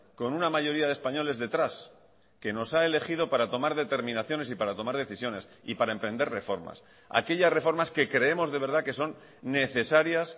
con una mayoría de españoles detrás que nos ha elegido para tomar determinaciones y para tomar decisiones y para emprender reformas aquellas reformas que creemos de verdad que son necesarias